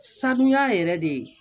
Sanuya yɛrɛ de